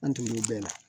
An tugul'o bɛɛ la